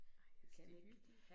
Ej jeg synes de hyggelige